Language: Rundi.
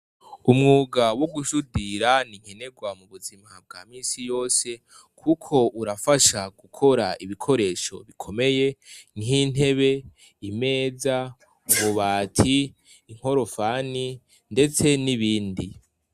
Umwuga wo gusudira, ninkenegwa mu buzima bwa minsi yose kuko urafasha gukora ibikoresho bikomeye nk'intebe, imeza, ububati, inkorofani ndetse n'ibindi.